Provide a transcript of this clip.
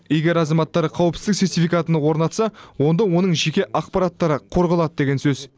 егер азаматтар қауіпсіздік сертификатын орнатса онда оның жеке ақпараттары қорғалады деген сөз